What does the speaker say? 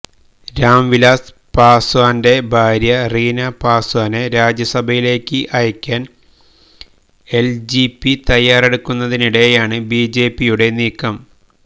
രാം വിലാസ് പാസ്വാന്റെ ഭാര്യ റീന പാസ്വാനെ രാജ്യസഭയിലേക്ക് അയക്കാൻ എൽജെപി തയ്യാറെടുക്കുന്നതിനിടെയാണ് ബിജെപിയുടെ നീക്കം